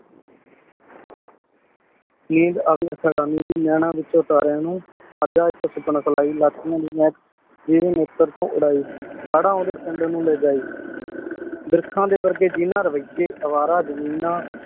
ਨੰਦ ਅਵੀ ਸਦਾਨੀ ਦੀ ਨੈਣਾਂ ਵਿਚੋਂ ਤਾਰੀਆਂ ਨੂ ਜਿਵੇਂ ਮੀਟਰ ਤੂ ਉਰਿ ਹਾਰਨ ਓਡੀ ਪਿੰਡ ਲੇ ਜੈ ਬ੍ਰਿਖਾਂ ਦੇ ਵਰਗੇ ਜਿਨਾਂ ਰਵੈਯੇ ਅਵਾਰਾ ਜ਼ਮੀਨਾਂ